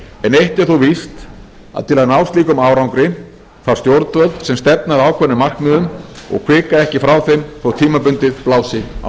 eitt er þó víst að til að ná slíkum árangri þarf stjórnvöld sem stefna að ákveðnum markmiðum og hvika ekki frá þeim þótt tímabundið blási á